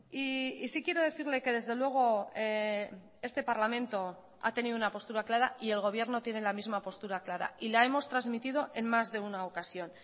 y sí quiero decirle que desde luego este parlamento ha tenido una postura clara y el gobierno tiene la misma postura clara y la hemos transmitido en más de una ocasión